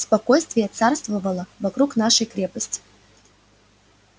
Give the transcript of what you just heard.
спокойствие царствовало вокруг нашей крепости